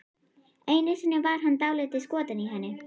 Einu sinni var hann dálítið skotinn í henni.